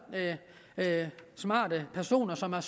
smarte personer som har